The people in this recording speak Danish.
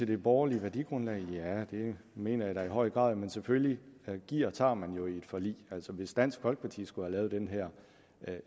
det borgerlige værdigrundlag mener jeg da i høj grad men selvfølgelig giver og tager man jo i et forlig altså hvis dansk folkeparti skulle have lavet den her